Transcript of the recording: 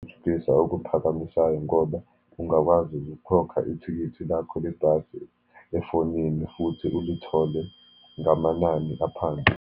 Thuthukisa okuphakamisayo ngoba ungakwazi ukukhokha ithikithi lakho lebhasi efonini, futhi ulithole ngamanani aphansi.